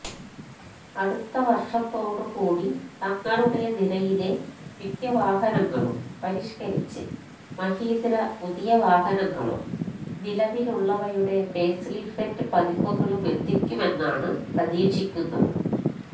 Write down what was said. അടുത്ത വര്ഷത്തോട് കൂടി തങ്ങളുടെ നിരയിലെ മിക്ക വാഹനങ്ങളും പരിഷ്കരിച്ച് മഹീന്ദ്ര പുതിയ വാഹനങ്ങളും നിലവിലുള്ളവയുടെ ഫെയ്സ്ലിഫ്റ്റ് പതിപ്പുകളുമെത്തിക്കുമെന്നാണ് പ്രതീക്ഷിക്കുന്നത്